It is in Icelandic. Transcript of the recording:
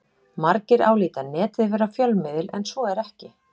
Margir álíta Netið vera fjölmiðil en svo er ekki.